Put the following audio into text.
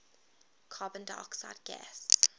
carbon dioxide gas